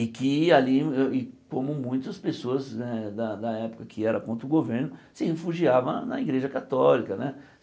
E que alí êh ih como muitas pessoas né da da época que eram contra o governo, se refugiavam na Igreja Católica né.